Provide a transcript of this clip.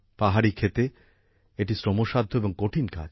পাহাড়ি ক্ষেতে এটি শ্রমসাধ্য এবং কঠিন কাজ